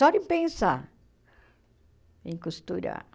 Só de pensar em costurar.